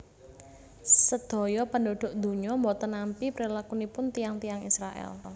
Sadaya penduduk dunya mboten nampi prilakunipun tiyang tiyang Israel